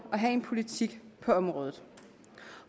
og have en politik på området